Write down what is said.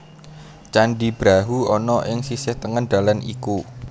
Candhi Brahu ana ing sisih tengen dalan iku